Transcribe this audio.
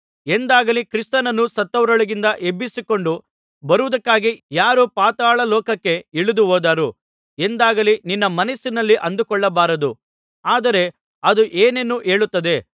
ಎಂದಾಗಲಿ ಕ್ರಿಸ್ತನನ್ನು ಸತ್ತವರೊಳಗಿಂದ ಎಬ್ಬಿಸಿಕೊಂಡು ಬರುವುದಕ್ಕಾಗಿ ಯಾರು ಪಾತಾಳಲೋಕಕ್ಕೆ ಇಳಿದುಹೋದರು ಎಂದಾಗಲಿ ನಿನ್ನ ಮನಸ್ಸಿನಲ್ಲಿ ಅಂದುಕೊಳ್ಳಬಾರದು ಆದರೆ ಅದು ಏನನ್ನು ಹೇಳುತ್ತದೆ